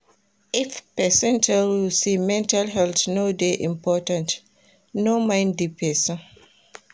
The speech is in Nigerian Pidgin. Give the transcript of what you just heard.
If pesin tell you sey mental health no dey important, no mind di pesin.